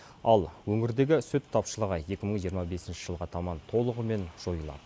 ал өңірдегі сүт тапшылығы екі мың жиырма бесінші жылға таман толығымен жойылады